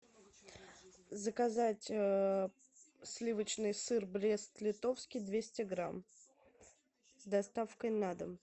заказать сливочный сыр брест литовский двести грамм с доставкой на дом